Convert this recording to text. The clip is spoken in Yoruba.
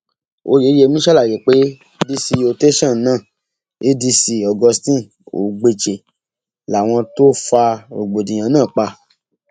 wọn ló um di dandan kí àwọn bá a um fà níléẹjọ miín láìpẹ yìí